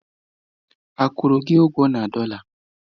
A kwụrụ gị ụgwọ na dọla?